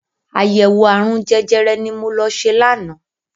Àyẹ̀wò ààrùn jẹjẹrẹ ni mo lọ ṣe lánàá.